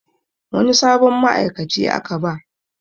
Wani sabon ma'aikaci aka ba